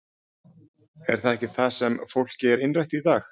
Er það ekki það sem fólki er innrætt í dag?